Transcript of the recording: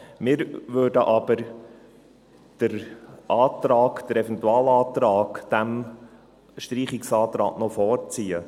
Wir würden aber den Eventualantrag diesem Streichungsantrag noch vorziehen.